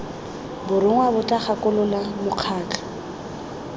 borongwa bo tla gakolola mokgatlho